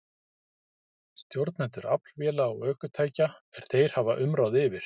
Stjórnendur aflvéla og ökutækja er þeir hafa umráð yfir.